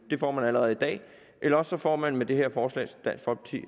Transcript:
det får man allerede i dag eller også får man med det her forslag